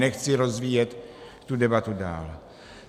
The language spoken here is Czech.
Nechci rozvíjet tu debatu dál.